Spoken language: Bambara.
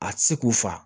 A ti se k'u fa